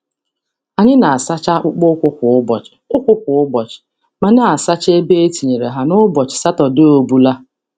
Anyị na-asacha akpụkpọ ụkwụ kwa ụbọchị, ụkwụ kwa ụbọchị, ma na-asacha ebe e tinyere ha n’ụbọchị Satọdee obula.